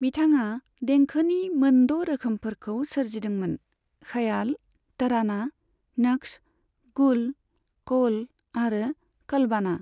बिथाङा देंखोनि मोनद' रोखोमफोरखौ सोरजिदोंमोन, ख्याल, तराना, नक्श, गुल, कौल आरो कलबाना।